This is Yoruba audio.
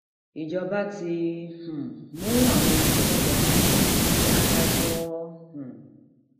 ìjọba ti um mú àwọn tí wọn lọọ ṣàkólú sílé adájọ um